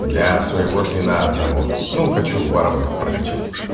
для своего твина одного ну хочу варваров прокачать